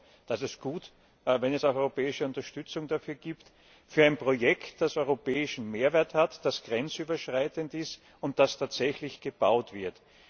EUR und das ist gut, wenn es auch europäische Unterstützung dafür gibt, für ein Projekt, das europäischen Mehrwert hat, das grenzüberschreitend ist und das tatsächlich gebaut wird.